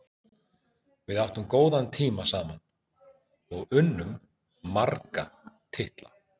Við áttum góðan tíma saman og unnum marga titla.